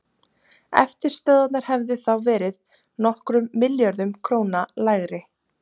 Eftirstöðvarnar hefðu þá verið nokkrum milljörðum króna lægri.